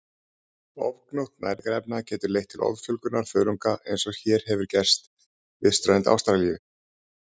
Ofgnótt næringarefna getur leitt til offjölgunar þörunga eins og hér hefur gerst við strönd Ástralíu.